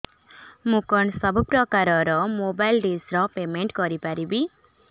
ମୁ କଣ ସବୁ ପ୍ରକାର ର ମୋବାଇଲ୍ ଡିସ୍ ର ପେମେଣ୍ଟ କରି ପାରିବି